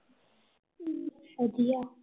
ਵਧੀਆ